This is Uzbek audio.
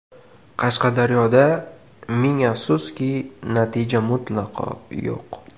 Qashqadaryoda, ming afsuski, natija mutlaqo yo‘q.